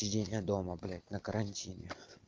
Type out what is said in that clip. еня дома блядь на карантине